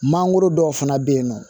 Mangoro dɔw fana bɛ yen nɔ